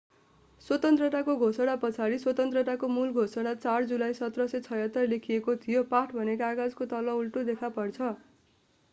स्वतन्त्रताको घोषणा पछाडि स्वतन्त्रताको मूल घोषणा 4 जुलाई 1776 लेखिएको थियो पाठ भने कागजातको तल उल्टो देखा पर्छ